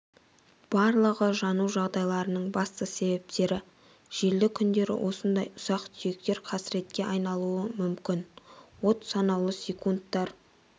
барлығы жану жағдайларының басты себептері желді күндері осындай ұсақ-түйектер қасіретке айналуы мүмкін от санаулы секундтар